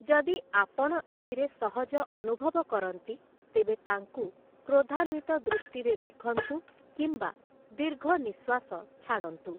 ଯଦି ଆପଣ ଏଥିରେ ସହଜ ଅନୁଭବ କରନ୍ତି, ତେବେ ତାଙ୍କୁ କ୍ରୋଧାନ୍ୱିତ ଦୃଷ୍ଟିରେ ଦେଖନ୍ତୁ କିମ୍ବା ଦୀର୍ଘନିଃଶ୍ୱାସ ଛାଡ଼ନ୍ତୁ ।